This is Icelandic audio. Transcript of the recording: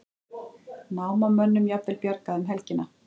Námamönnum jafnvel bjargað um helgina